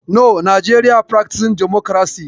No, Nigeria practices democracy.